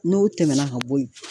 N'o tɛmɛna ka bɔ yen.